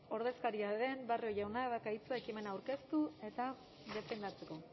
ordezkaria den barrio jaunak dauka hitza ekimena aurkeztu eta defendatzeko